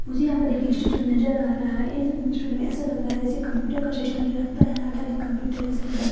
मुझे यहा पर एक स्टेचू नज़र आ रहा है इस स्टूडियो में एसा लगरा है जेसे कंप्यूटर का सिस्टम जो लगता है आधा आधा कंप्यूटर जेसे वे बर--